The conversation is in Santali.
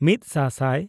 ᱢᱤᱫ ᱥᱟ ᱥᱟᱭ